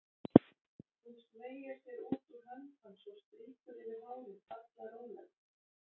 Hún smeygir sér út úr hönd hans og strýkur yfir hárið, sallaróleg.